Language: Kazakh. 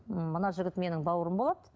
м мына жігіт менің бауырым болады